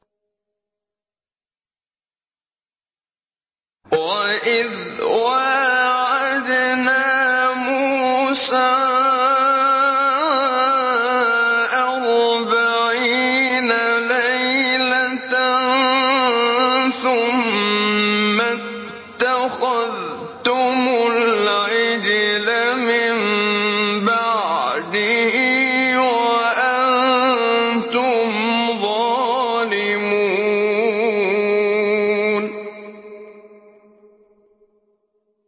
وَإِذْ وَاعَدْنَا مُوسَىٰ أَرْبَعِينَ لَيْلَةً ثُمَّ اتَّخَذْتُمُ الْعِجْلَ مِن بَعْدِهِ وَأَنتُمْ ظَالِمُونَ